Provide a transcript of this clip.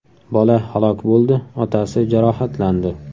Bola halok bo‘ldi, otasi jarohatlandi.